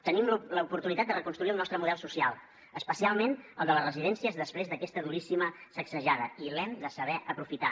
tenim l’oportunitat de reconstruir el nostre model social especialment el de les residències després d’aquesta duríssima sacsejada i l’hem de saber aprofitar